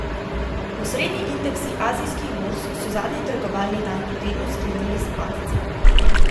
Osrednji indeksi azijskih borz so zadnji trgovalni dan v tednu sklenili s padci.